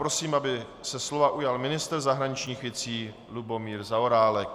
Prosím, aby se slova ujal ministr zahraničních věcí Lubomír Zaorálek.